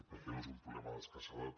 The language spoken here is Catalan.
perquè no és un problema d’escassedat